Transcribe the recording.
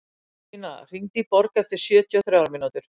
Tína, hringdu í Borg eftir sjötíu og þrjár mínútur.